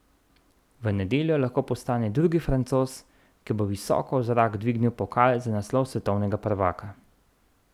V nedeljo lahko postane drugi Francoz, ki bo visoko v zrak dvignil pokal za naslov svetovnega prvaka.